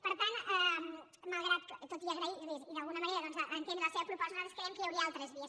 per tant tot i agrair los i d’alguna manera entendre la seva proposta nosaltres creiem que hi hauria altres vies